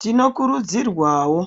Tinokurudzirwawo